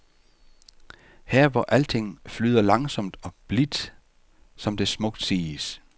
Her hvor alting flyder langsomt og blidt, som det smukt siges.